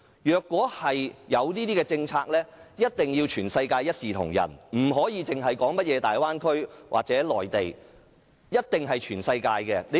如果推出這種政策，一定要全世界一視同仁，不應只在大灣區或內地實行，必須在全世界實行。